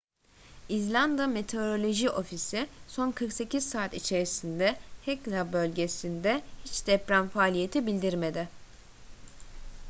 i̇zlanda meteoroloji ofisi son 48 saat içerisinde hekla bölgesinde hiç deprem faaliyeti bildirmedi